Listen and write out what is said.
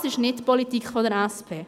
Das ist nicht die Politik der SP.